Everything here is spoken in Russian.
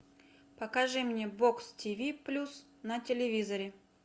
покажи мне бокс тиви плюс на телевизоре